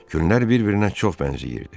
Günlər bir-birinə çox bənzəyirdi.